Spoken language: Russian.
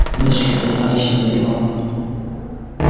мы шли достаточно далеко